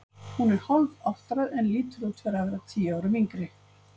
Hún er hálfáttræð en lítur út fyrir að vera tíu árum yngri.